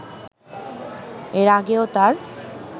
এর আগেও তার